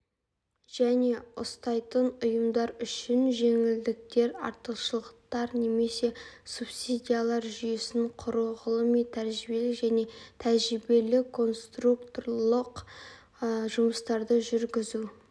және ұстайтын ұйымдар үшін жеңілдіктер артықшылықтар немесе субсидиялар жүйесін құру ғылыми-тәжірибелік және тәжірибелік-конструкторлық жұмыстарды жүргізу